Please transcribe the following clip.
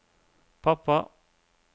pappa